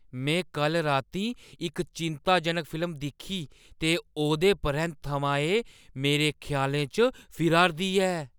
में कल्ल रातीं इक चिंत्ताजनक फिल्म दिक्खी ते ओह्दे परैंत्त थमां एह् मेरे ख्यालें च फिरा 'रदी ऐ।